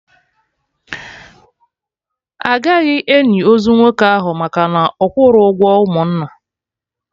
Agaghị eni ozu nwoke ahụ maka na ọ kwụrọ ụgwọ ụmụnna